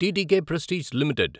TTK Prestige limited